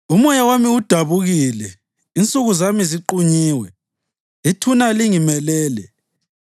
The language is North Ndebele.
“Umoya wami udabukile, insuku zami ziqunyiwe, ithuna lingimelele.